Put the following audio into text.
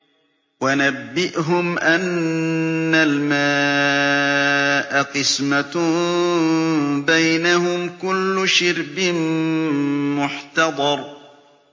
وَنَبِّئْهُمْ أَنَّ الْمَاءَ قِسْمَةٌ بَيْنَهُمْ ۖ كُلُّ شِرْبٍ مُّحْتَضَرٌ